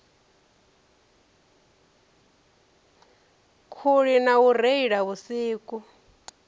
khuli na u reila vhusiku